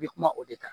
I bɛ kuma o de kan